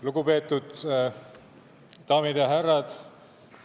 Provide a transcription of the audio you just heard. Lugupeetud daamid ja härrad!